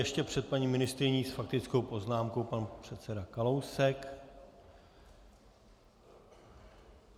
Ještě před paní ministryní s faktickou poznámkou pan předseda Kalousek.